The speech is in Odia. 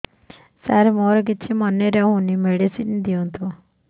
ସାର ମୋର କିଛି ମନେ ରହୁନି ମେଡିସିନ ଦିଅନ୍ତୁ